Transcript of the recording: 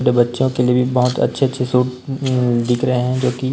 छोटे बच्चों के लिए भी बहोत अच्छे अच्छे सूट अं दिख रहे है जोकि--